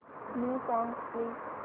new songs please